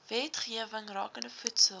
wetgewing rakende voedsel